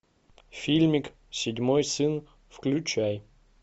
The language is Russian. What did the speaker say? фильмик седьмой сын включай